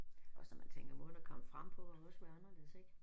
Også når man tænker måden at komme frem på må også være anderledes ik